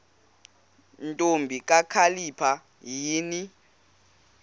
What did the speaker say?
ntombi kakhalipha yini